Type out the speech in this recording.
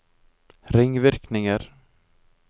ringvirkninger